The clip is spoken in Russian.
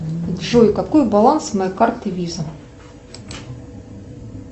джой какой баланс моей карты виза